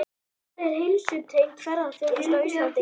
En hvar er heilsutengd ferðaþjónusta á Íslandi í dag?